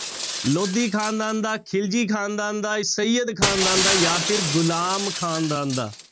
ਲੋਧੀ ਖ਼ਾਨਦਾਨ ਦਾ, ਖ਼ਿਲਜੀ ਖ਼ਾਨਦਾਨ ਦਾ, ਸਯਦ ਖ਼ਾਨਦਾਨ ਦਾ ਜਾਂ ਫਿਰ ਗੁਲਾਮ ਖ਼ਾਨਦਾਨ ਦਾ।